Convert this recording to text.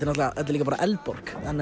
náttúrulega líka bara Eldborg